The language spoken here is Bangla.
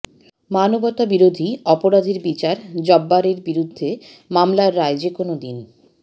মানবতাবিরোধী অপরাধের বিচার জব্বারের বিরুদ্ধে মামলার রায় যেকোনো দিন